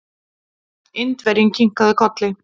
Indverjinn kinkaði kolli.